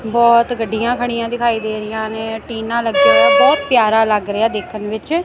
ਬਹੁਤ ਗੱਡੀਆਂ ਖੜੀਆਂ ਦਿਖਾਈ ਦੇ ਰਹੀਆਂ ਨੇ ਟੀਨਾ ਲੱਗੀਆਂ ਬਹੁਤ ਪਿਆਰਾ ਲੱਗ ਰਿਹਾ ਦੇਖਣ ਵਿੱਚ।